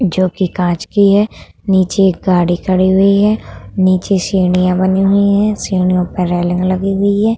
जो की कांच की है नीचे एक गाड़ी खड़ी हुई है नीचे सीढियाँ बनी हुई है सीढ़ियों पर रेलिंग लगी हुई है।